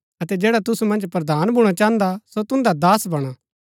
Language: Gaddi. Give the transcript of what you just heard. अतै जैडा तुसु मन्ज प्रधान भूणा चाहन्दा सो तुन्दा दास बणा